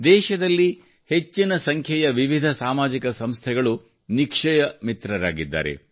ದೇಶದಲ್ಲಿ ಹೆಚ್ಚಿನ ಸಂಖ್ಯೆಯ ವಿವಿಧ ಸಾಮಾಜಿಕ ಸಂಸ್ಥೆಗಳು ನಿಕ್ಷಯ ಮಿತ್ರರಾಗಿದ್ದಾರೆ